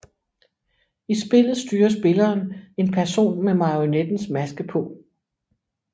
I spillet styrer spilleren en person med marionettens maske på